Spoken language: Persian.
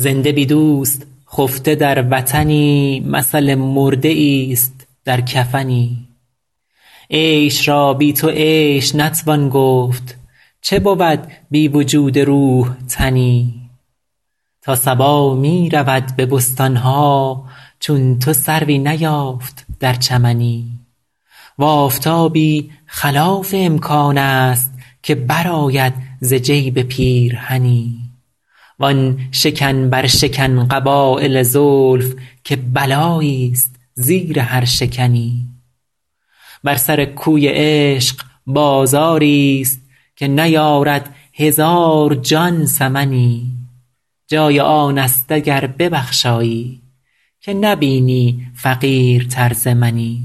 زنده بی دوست خفته در وطنی مثل مرده ایست در کفنی عیش را بی تو عیش نتوان گفت چه بود بی وجود روح تنی تا صبا می رود به بستان ها چون تو سروی نیافت در چمنی و آفتابی خلاف امکان است که برآید ز جیب پیرهنی وآن شکن برشکن قبایل زلف که بلاییست زیر هر شکنی بر سر کوی عشق بازاریست که نیارد هزار جان ثمنی جای آن است اگر ببخشایی که نبینی فقیرتر ز منی